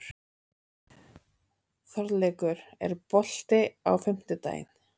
Þorleikur, er bolti á fimmtudaginn?